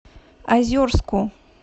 озерску